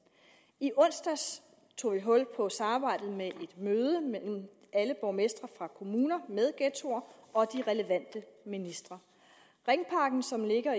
i onsdags tog vi hul på samarbejdet med et møde mellem alle borgmestre fra kommuner med ghettoer og de relevante ministre ringparken som ligger